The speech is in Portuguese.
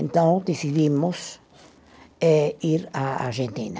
Então, decidimos eh ir à Argentina.